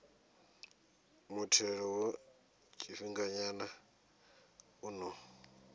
muthelo wa tshifhinganyana u ḓo